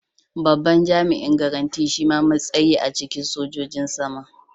Babban jami'in garanti shima matsayi a cikin sojojin sama.